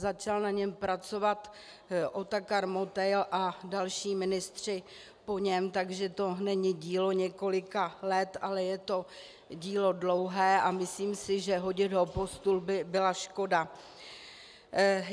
Začal na něm pracovat Otakar Motejl a další ministři po něm, takže to není dílo několika let, ale je to dílo dlouhé a myslím si, že hodit ho pod stůl by byla škoda.